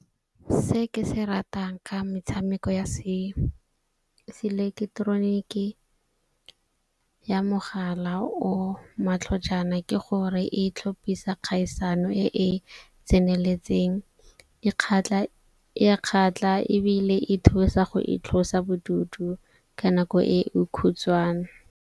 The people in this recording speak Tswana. Se ke se ratang ka metshameko ya seeleketeroniki ya mogala o matlhojana ke gore e tlhopisa kgaisano e e tseneletseng. E a kgatlha ebile e thusa go itlosa bodutu ka nako e e khutshwane.